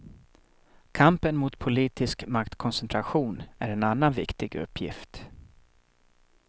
Kampen mot politisk maktkoncentration är en annan viktig uppgift.